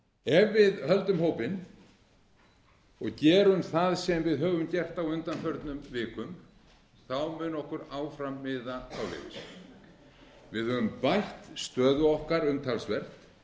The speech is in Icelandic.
ef við höldum hópinn og gerum það sem við höfum gert á undanförnum vikum mun okkur áfram miða áleiðis við höfum bætt stöðu okkar umtalsvert